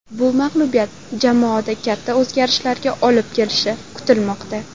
Bu mag‘lubiyat jamoada katta o‘zgarishlarga olib kelishi kutilmoqda.